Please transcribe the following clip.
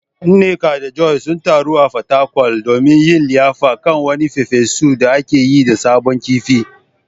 Nneka da Joy sun taru a Fatakwal domin yin liyafa kan wani farfesu da aka yi da sabon kifi.